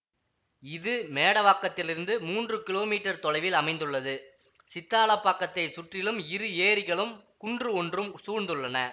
இது மேடவாக்கத்திலிருந்து மூன்று கிலோ மீட்டர் தொலைவில் அமைந்துள்ளது சித்தாலப்பாக்கத்தை சுற்றிலும் இரு ஏரிகளும் குன்று ஒன்றும் சூழ்ந்துள்ளன